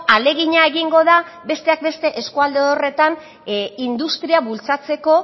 ahalegina egingo da besteak beste eskualde horretan industria bultzatzeko